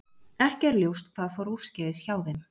Ekki er ljóst hvað fór úrskeiðis hjá þeim.